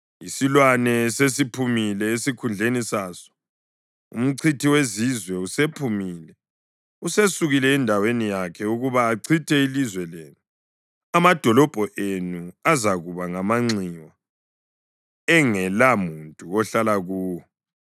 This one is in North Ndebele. Isilwane sesiphumile esikhundleni saso, umchithi wezizwe usephumile. Usesukile endaweni yakhe ukuba achithe ilizwe lenu. Amadolobho enu azakuba ngamanxiwa engelamuntu ohlala kuwo.